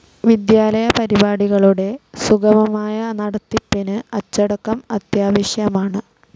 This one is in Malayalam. വിദ്യാലയപരിപാടികളുടെ സുഗമമായ നടത്തിപ്പിന് അച്ചടക്കം അത്യാവശ്യമാണ്.